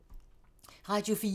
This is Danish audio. Radio 4